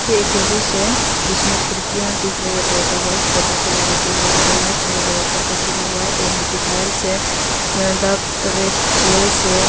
एक ऑफिस है जिसमें खिरकियां दिख रही है पर्दा व्हाइट पर्दा से लगाते हुए ऊपर लाइट चमक रही है ऊपर का सीलिंग व्हाइट है नीचे टाइल्स है द रेड चेयर्स है।